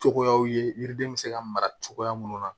Cogoyaw ye yiriden bɛ se ka mara cogoya minnu na